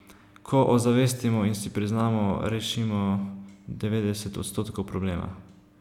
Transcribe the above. Ko ozavestimo in si priznamo rešimo devetdeset odstotkov problema.